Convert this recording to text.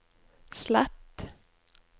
slett